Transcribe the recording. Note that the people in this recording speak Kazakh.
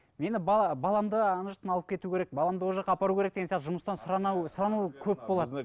мені баламды ана жақтан алып кету керек баламды ол жаққа апару керек деген сияқты жұмыстан сұрану көп болады